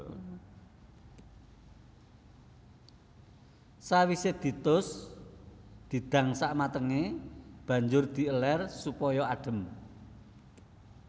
Sawisé ditus didang samatengé banjur di elèr supaya adhem